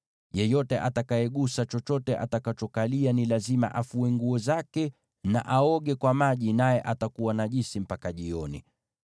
Yeyote atakayegusa chochote atakachokalia ni lazima afue nguo zake na aoge kwa maji, naye atakuwa najisi mpaka jioni.